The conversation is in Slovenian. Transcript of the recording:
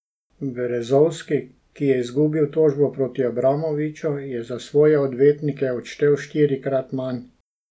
Berezovski, ki je izgubil tožbo proti Abramoviču, je za svoje odvetnike odštel štirikrat manj.